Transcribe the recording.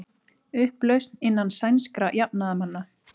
Upplausn innan sænskra jafnaðarmanna